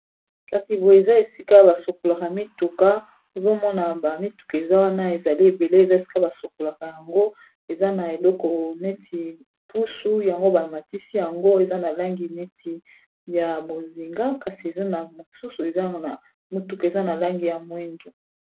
kasi boye eza esika basokolaka mituka ozomona ba mituka eza wana ezali ebele eza esika basokolaka yango eza na eleko neti pusu yango bamatisi yango eza na langi neti ya mozinga kasi eza na mosusu eza na mituka eza na langi ya mwindu